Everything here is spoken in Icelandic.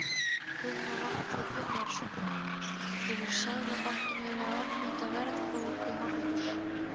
Gunnar Atli Gunnarsson: Hefur Seðlabankinn verið að ofmeta verðbólguhorfur?